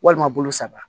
Walima bolo saba